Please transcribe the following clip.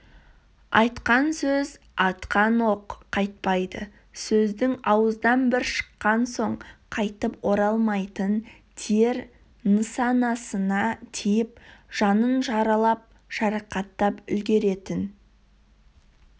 айтқан сөз атқан оқ қайтпайды сөздің ауыздан бір шыққан соң қайтып оралмайтын тиер нысанасына тиіп жанын жаралап-жарақаттап үлгеретін